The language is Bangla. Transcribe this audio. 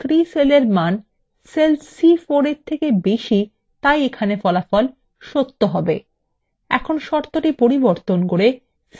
যেহেতু c3 cellএর মান cell c4 এর মানের থেকে বেশী তাই এখানে ফলা cell সত্য হবে